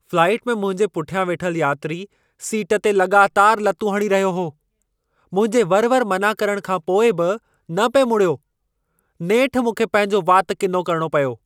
Flight में मुंहिंजे पुठियां वेठल यात्री सीट ते लॻातारि लतूं हणी रहियो हो। मुंहिंजे वरि-वरि मना करण खां पोइ बि न पिए मुड़ियो। नेठि मूंखे पंहिंजो वातु किनो करणो पियो।